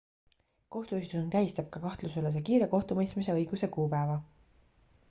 kohtuistung tähistab ka kahtlusaluse kiire kohtumõistmise õiguse kuupäeva